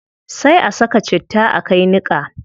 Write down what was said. Sai a ka saka citta a kai niqa